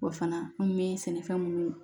O fana an bɛ sɛnɛfɛn minnu